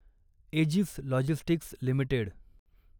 edges logistics limited